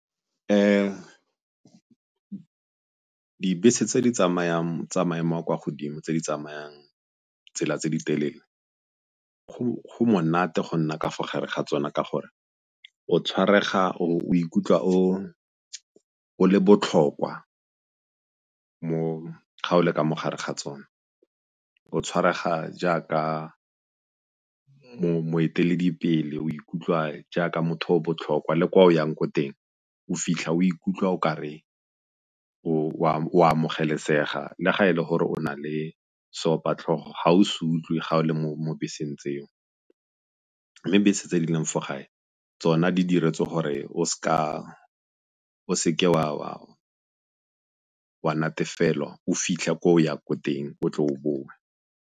Dibese tse di tsamayang tsa maemo a kwa godimo, tse di tsamayang tsela tse di telele go monate go nna ka fa gare ga tsona ka gore o ikutlwa o le botlhokwa gabo le ka mo gare ga tsona, o tshwarega jaaka moeteledipele, o ikutlwa jaaka motho o o botlhokwa le kwa o yang ko teng o fitlha o ikutlwa o kare o amogelesega le ga e le gore o na le seopatlhogo ga o se utlwe ga o le mo beseng tseo. Mme bese tse di leng fo gae tsona di diretswe gore o seke wa natefela o fitlha ko o ya ko teng o tle o bowe.